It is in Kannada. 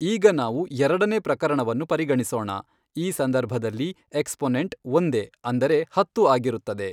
ಈಗ ನಾವು ಎರಡನೇ ಪ್ರಕರಣವನ್ನು ಪರಿಗಣಿಸೋಣ, ಈ ಸಂದರ್ಭದಲ್ಲಿ ಎಕ್ಷಪೊನೆಂಟ್ ಒಂದೇ ಅಂದರೆ ಹತ್ತು ಆಗಿರುತ್ತದೆ.